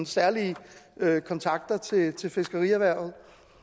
særlige kontakter til til fiskerierhvervet